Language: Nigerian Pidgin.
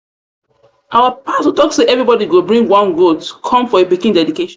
our pastor talk say everybody go bring one goat bring one goat come for him pikin dedication.